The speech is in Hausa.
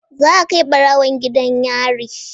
Zaa kai barawon gidan yari.